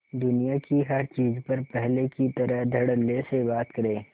दुनिया की हर चीज पर पहले की तरह धडल्ले से बात करे